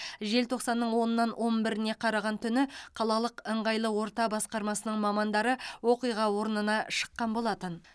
желтоқсанның онынан он біріне қараған түні қалалық ыңғайлы орта басқармасының мамандары оқиға орнына шыққан болатын